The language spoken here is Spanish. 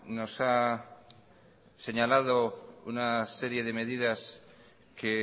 nos ha señalado una serie de medidas que